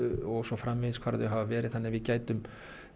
og svo framvegis hvar þau hafa verið þannig að við gætum